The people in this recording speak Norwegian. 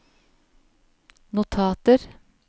notater